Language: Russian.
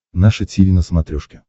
наше тиви на смотрешке